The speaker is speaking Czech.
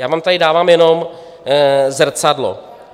Já vám tady dávám jenom zrcadlo.